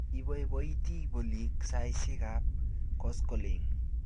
Ipoipoiti polik saisyek ap koskoling'